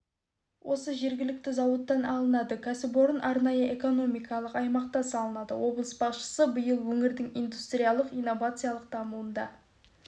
осы жергілікті зауыттан алынады кәсіпорын арнайы экономикалық аймақта салынады облыс басшысы биыл өңірдің индустриялық-инновациялық дамуында